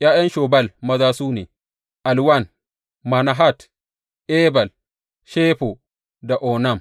’Ya’yan Shobal maza su ne, Alwan, Manahat, Ebal, Shefo da Onam.